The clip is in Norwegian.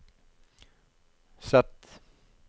Z